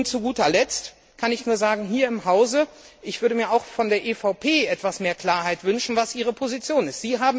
Und zu guter Letzt kann ich nur sagen Ich würde mir auch hier im Hause von der EVP etwas mehr Klarheit wünschen, was ihre Position ist.